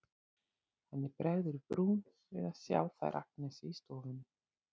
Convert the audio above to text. Henni bregður í brún við að sjá þær Agnesi í stofunni.